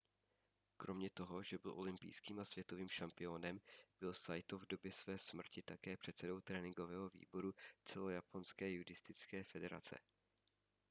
kromě toho že byl olympijským a světovým šampiónem byl saito v době své smrti také předsedou tréninkového výboru celojaponské judistické federace